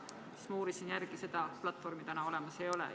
Ma uurisin järele, seda platvormi olemas ei ole.